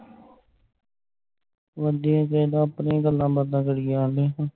ਵਧੀਆ ਚਾਈਦਾ ਆਪਣੀਆਂ ਗੱਲਾਂ ਬਾਤਾਂ ਕਰੀ ਜਾਣ ਡਈ ਤੂੰ